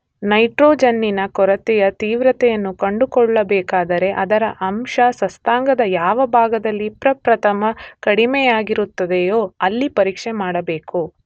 ನೈಟ್ರೋಜನ್ನಿನ ಕೊರತೆಯ ತೀವ್ರತೆಯನ್ನು ಕಂಡುಕೊಳ್ಳಬೇಕಾದರೆ ಅದರ ಅಂಶ ಸಸ್ಯಾಂಗದ ಯಾವ ಭಾಗದಲ್ಲಿ ಪ್ರಪ್ರಥಮ ಕಡಿಮೆಯಾಗಿರುತ್ತದೆಯೋ ಅಲ್ಲಿ ಪರೀಕ್ಷೆ ಮಾಡಬೇಕು.